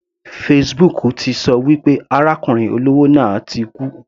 Facebook ti ṣọ wí pé arákùnrin olówó náà ti kú.